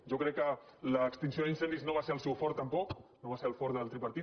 jo crec que l’extinció d’incendis no va ser el seu fort tampoc no va ser el fort del tripartit